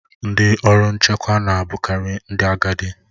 Ndị ọrụ nchekwa na a bụkari ndị agadi.